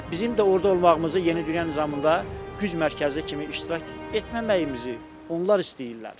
Və bizim də orada olmağımızı yeni dünya nizamında güc mərkəzi kimi iştirak etməməyimizi onlar istəyirlər.